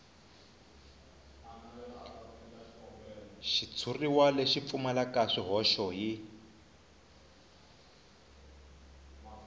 xitshuriwa lexi pfumalaka swihoxo hi